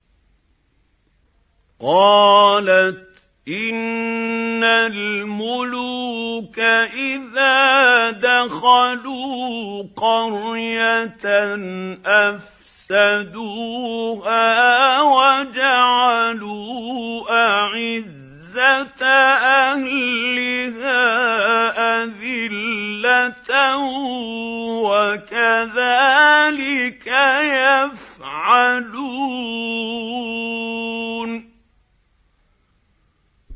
قَالَتْ إِنَّ الْمُلُوكَ إِذَا دَخَلُوا قَرْيَةً أَفْسَدُوهَا وَجَعَلُوا أَعِزَّةَ أَهْلِهَا أَذِلَّةً ۖ وَكَذَٰلِكَ يَفْعَلُونَ